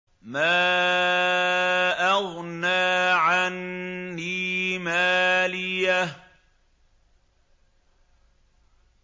مَا أَغْنَىٰ عَنِّي مَالِيَهْ ۜ